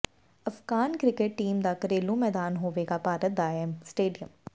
Afghan cricket team ਦਾ ਘਰੇਲੂ ਮੈਦਾਨ ਹੋਵੇਗਾ ਭਾਰਤ ਦਾ ਇਹ ਸਟੇਡੀਅਮ